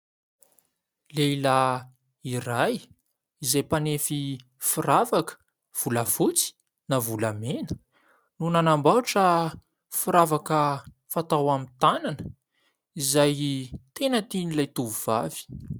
Lehilahy iray izay, mpanefy firavaka volafotsy na volamena no nanambaotra firavaka fatao amin'ny tanana, izay tena tian' ilay tovovavy.